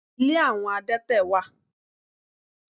Ilé àwọn adẹ́tẹ̀ wà.